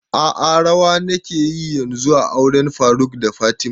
A'a rawa nake yi yanzun a auren faruk da fatima